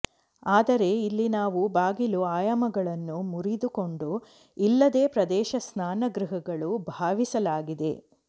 ಆದರೆ ಇಲ್ಲಿ ನಾವು ಬಾಗಿಲು ಆಯಾಮಗಳನ್ನು ಮುರಿದುಕೊಂಡು ಇಲ್ಲದೆ ಪ್ರದೇಶ ಸ್ನಾನಗೃಹಗಳು ಭಾವಿಸಲಾಗಿದೆ